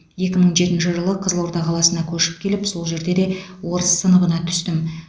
екі мың жетінші жылы қызылорда қаласына көшіп келіп сол жерде де орыс сыныбына түстім